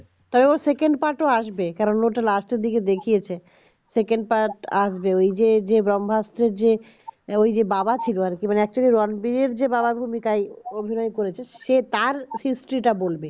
আর ওর second part ও আসবে কারণ ওটা lest দিকে দেখিয়েছে second part আসবে এইযে এইকে ব্রম্ভাস্ত্র যে ওই যে বাবা ছিল আর কি মানে একটা সে তার history টা বলবে